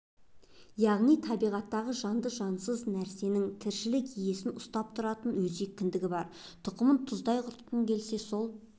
яғни табиғаттағы жанды-жансыз әрбір нәрсенің тіршілік иесі ұстап тұратын өзек кіндігі бар тұқымын тұздай құртқың келсе сол